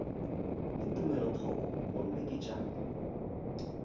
le tumelothoko gomme ke tša